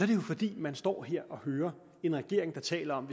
det jo fordi man står her og hører en regering der taler om